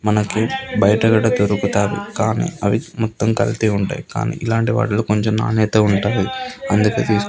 మనకి బయట కూడా దొరుకుతాయి కానీ అవి మొత్తం కల్తీ ఉంటాయి కానీ ఇలాంటి వాటిలో కొంచం నాణ్యత ఉంటాయి అందుకే తీసుకుం --